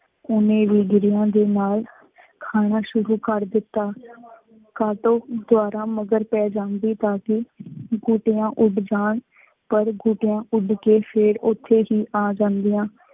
ਉਹਨੇ ਵੀ ਗਿਰੀਆਂ ਦੇ ਨਾਲ ਖਾਣਾ ਸ਼ੁਰੂ ਕਰ ਦਿੱਤਾ। ਕਾਟੋਂ ਜਿਆਦਾ ਮਗਰ ਪੈ ਜਾਂਦੀ ਤਾਂ ਕਿ ਗੋਟੀਆਂ ਉੱਡ ਜਾਣ, ਪਰ ਗੋਟੀਆਂ ਉੱਡ ਕੇ ਫੇਰ ਉੱਥੇ ਹੀ ਆ ਜਾਂਦੀਆਂ।